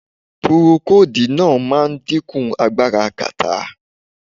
Purokodíì náà máa ń dẹ́kun agbára kàtá.